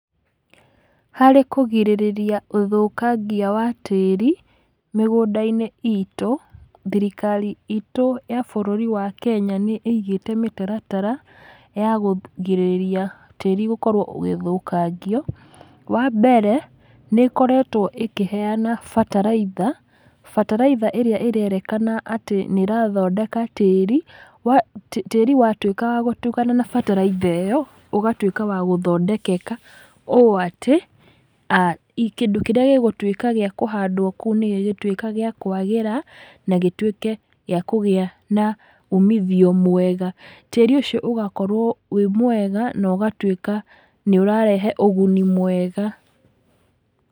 Harĩ kũgirĩrĩria ũthũkangia wa tĩri, mĩgũnda-inĩ itũ, thirikari itũ ya bũrũri wa kenya nĩ ĩigĩte mĩtaratara ya kũgirĩrĩria tĩri gũkorwo ũgĩthũkangio. Wambere, nĩkoretwo ĩkĩheana bataraitha, bataraitha ĩrĩa ĩrerĩkana atĩ nĩrathondeka tĩri, wa tĩri watwĩka wa gũtukana na bataraitha ĩyo, ũgatwĩka wa gũthondekeka, ũũ atĩ i kĩndũ kĩrĩa gĩgũtwĩka gĩa kũhandwo kũu nĩgĩgũtwĩka gĩa kwagĩra na gĩtwĩke gĩa kũgĩa na umithio mwega. Tĩri ũcio ũgakorwo wĩ mwega, nogatwĩka nĩũrarehe ũguni mwega.